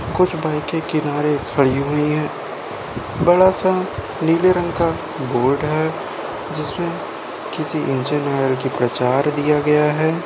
कुछ बाइक किनारे खड़ी हुई हैं। बड़ा सा नीले रंग का बोर्ड है जिसमें किसी इंजन आयल का प्रचार किया गया है।